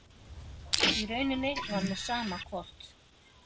Í rauninni var mér sama hvort